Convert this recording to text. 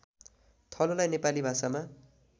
थलोलाई नेपाली भाषामा